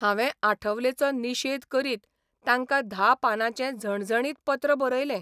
हावें आठवलेचो निशेध करीत तांकां धा पानांचें झणझणीत पत्र बरयलें